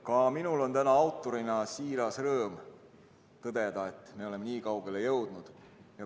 Ka minul on täna autorina siiras rõõm tõdeda, et me oleme nii kaugele jõudnud.